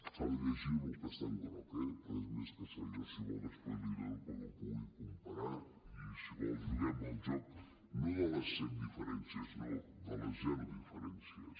s’ha de llegir el que està en groc eh perquè a més si vol després l’hi dono perquè els pugui comparar i si vol juguem al joc no de les set diferències no de les zero diferències